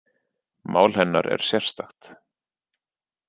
Mál hennar er sérstakt